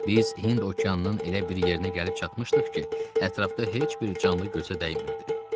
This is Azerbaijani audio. Biz Hind okeanının elə bir yerinə gəlib çatmışdıq ki, ətrafda heç bir canlı gözə dəymirdi.